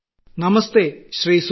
പ്രധാനമന്ത്രി നമസ്തേ ശ്രീ